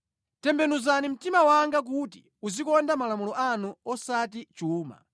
Tembenuzani mtima wanga kuti uzikonda malamulo anu, osati chuma.